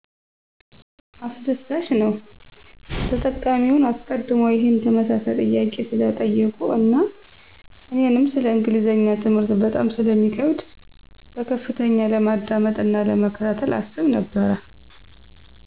አስደሳችነዉ !ተጠቃሚዉ አሰቀድሞ ይሄን ተመሳሳይ ጥያቄ ስለጠየቁ አና እኔንም ሰለ እንግሊዝኛ ትምህርት በጣም ስለሚከብደ በከፍተኛ ለማዳመጥ አና ለመከታተል አስብ ነበረ።